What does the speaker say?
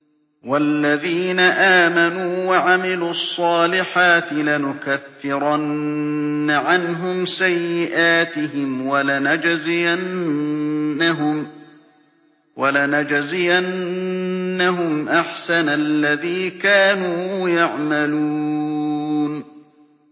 وَالَّذِينَ آمَنُوا وَعَمِلُوا الصَّالِحَاتِ لَنُكَفِّرَنَّ عَنْهُمْ سَيِّئَاتِهِمْ وَلَنَجْزِيَنَّهُمْ أَحْسَنَ الَّذِي كَانُوا يَعْمَلُونَ